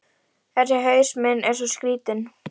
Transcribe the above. Þessi haus minn er svo skrýtinn.